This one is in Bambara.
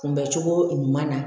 Kunbɛcogo ɲuman na